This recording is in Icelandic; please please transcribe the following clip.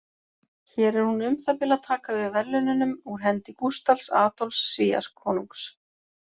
Hér er hún um það bil að taka við verðlaununum úr hendi Gústafs Adolfs Svíakonungs.